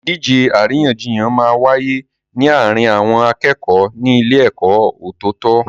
Ìdíje àríyànjiyàn máa n wáyé ní àárín àwọn akẹ́kọ̀ọ́ ní ilé ẹ̀kọ́ ọ̀tọ̀tọ̀